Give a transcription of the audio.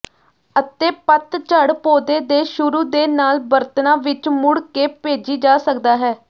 ਅਤੇ ਪਤਝੜ ਪੌਦੇ ਦੇ ਸ਼ੁਰੂ ਦੇ ਨਾਲ ਬਰਤਨਾ ਵਿੱਚ ਮੁੜ ਕੇ ਭੇਜੀ ਜਾ ਸਕਦਾ ਹੈ